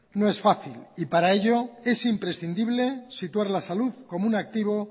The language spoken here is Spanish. no es fácil y para ellos es imprescindible situar la salud como un activo